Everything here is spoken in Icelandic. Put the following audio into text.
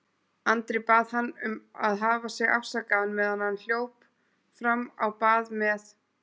Andri bað hann að hafa sig afsakaðan meðan hann hljóp fram á bað með